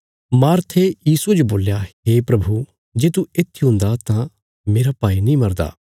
मार्थे यीशुये जो बोल्या हे प्रभु जे तू येत्थी हुंदा तां मेरा भाई नीं मरदा